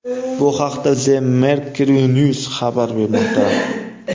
Bu haqda The Mercury News xabar bermoqda .